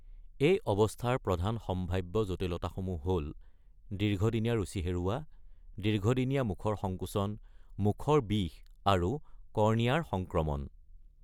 এই অৱস্থাৰ প্ৰধান সম্ভাৱ্য জটিলতাসমূহ হ’ল দীৰ্ঘদিনীয়া ৰুচি হেৰুৱা, দীৰ্ঘদিনীয়া মুখৰ সংকোচন, মুখৰ বিষ আৰু কৰ্ণিয়াৰ সংক্ৰমণ।